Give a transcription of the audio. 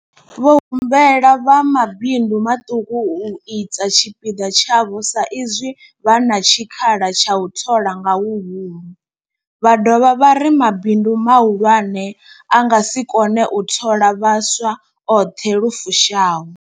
Vho humbela vha mabindu maṱuku u ita tshipiḓa tshavho sa izwi vha na tshikhala tsha u thola nga huhulu, vha dovha vha ri mabindu mahulwane a nga si kone u thola vhaswa a oṱhe lu fushaho.